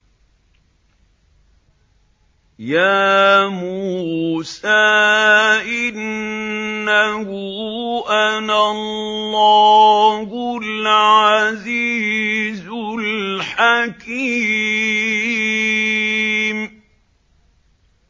يَا مُوسَىٰ إِنَّهُ أَنَا اللَّهُ الْعَزِيزُ الْحَكِيمُ